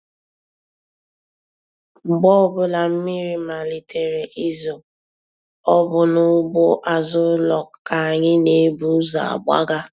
Mgbe ọbụla mmiri malitere izo, ọ bụ n'ugbo azụ ụlọ ka anyị n'ebu ụzọ agbaga.